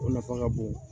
O nafa ka bon